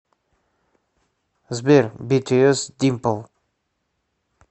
сбер битиэс димпл